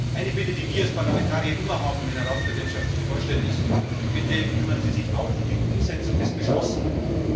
Eine Bitte, die wir als Parlamentarier immer haben, wenn sich eine Ratspräsidentschaft vorstellt, ist Bitte kümmern Sie sich auch um die Umsetzung des Beschlossenen.